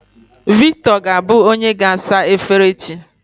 Victor ga-abụ onye ga-asa efere echi.